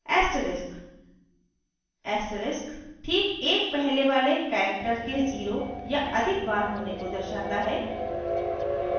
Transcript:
asterisk: asterisk ठीक एक पहले वाले character के 0 या अधिक बार होने को दर्शाता है